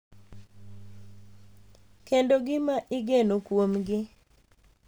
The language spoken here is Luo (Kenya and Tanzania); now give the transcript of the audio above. Kendo gima igeno kuomgi, .